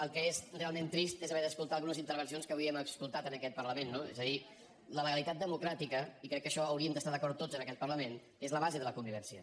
el que és realment trist és haver d’escoltar algunes intervencions que avui hem escoltat en aquest parlament no és a dir la legalitat democràtica i crec que en això hauríem d’estar d’acord tots en aquest parlament és la base de la convivència